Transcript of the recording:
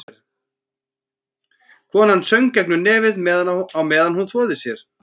Konan söng gegnum nefið á meðan hún þvoði sér.